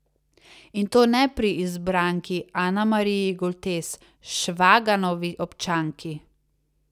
In to ne pri izbranki Anamariji Goltes, Švaganovi občanki!